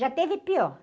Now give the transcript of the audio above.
Já esteve pior.